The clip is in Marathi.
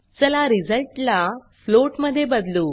चला रिझल्ट ला फ्लोट मध्ये बदलू